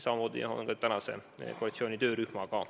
Samamoodi on selle koalitsiooni töörühmaga.